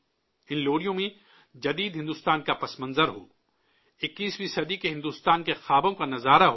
ان لوریوں میں جدید بھارت کا حوالہ ہو، 21ویں صدی کے بھارت کے خوابوں کی عکاسی ہو